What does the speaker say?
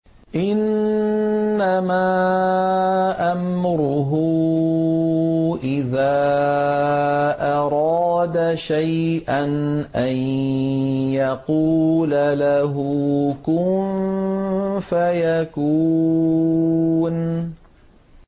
إِنَّمَا أَمْرُهُ إِذَا أَرَادَ شَيْئًا أَن يَقُولَ لَهُ كُن فَيَكُونُ